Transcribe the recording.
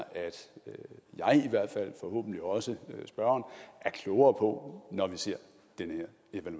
forhåbentlig også spørgeren er klogere på når vi ser den